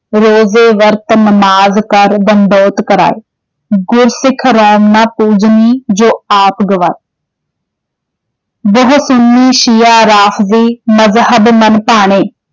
ਰੋਜੇ, ਵਰਤ, ਨਵਾਜ ਕਰਿ, ਡੰਡਉਤ ਕਰਾਏ॥ ਗੁਰ ਸਿਖ ਰੋਮ ਨ ਪੁਜਨੀ, ਜੇ ਆਪ ਗਵਾਏ॥ ਬਹੁ ਸੁੰਨੀ, ਸ਼ੀਆ, ਰਾਫਜੀ, ਮਜਹਬ ਮਨ ਭਾਣੇ॥